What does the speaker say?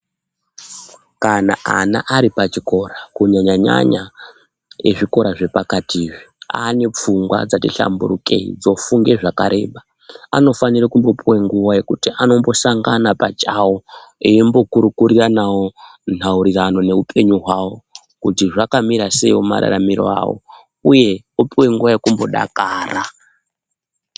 Kana ana ari pachikora kunyanya nyanya ezvikora zvepakati izvi aane pfungwa dzati hlamburukei dzofunge zvakareba anofanire kumbopiwa nguwa yekuti anombosangana pachawo eimbokurukuriranawo nhaurirano neupenyu hwawo kuti zvakamira seiwo mararamire awo uye opiwe nguwa yekumbodakara